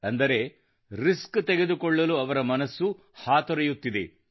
ಅಂದರೆ ರಿಸ್ಕ್ ತೆಗೆದುಕೊಳ್ಳಲು ಅವರ ಮನಸ್ಸು ಹಾತೊರೆಯುತ್ತಿದೆ